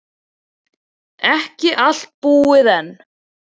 Ekki allt búið enn.